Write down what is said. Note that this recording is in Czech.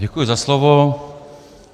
Děkuji za slovo.